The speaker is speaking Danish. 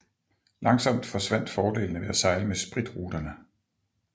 Langsomt forsvandt fordelene ved at sejle med spritruterne